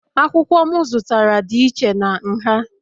Akwụkwọ m zụtara dị iche na nha